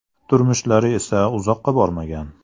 Turmushlari esa uzoqqa bormagan.